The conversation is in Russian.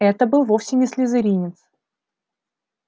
это был вовсе не слизеринец